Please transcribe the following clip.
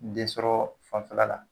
Densɔrɔ fanfɛla la